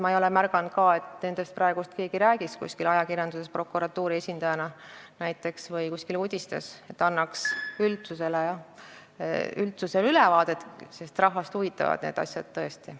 Ma ei ole ka märganud, et nendest keegi räägiks ajakirjanduses näiteks prokuratuuri esindajana, et anda üldsusele ülevaadet, sest rahvast huvitavad need asjad tõesti.